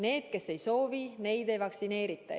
Need, kes ei soovi, neid ei vaktsineerita.